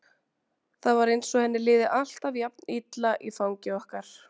Það var eins og henni liði alltaf jafn illa í fangi okkar.